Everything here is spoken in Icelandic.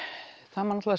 það má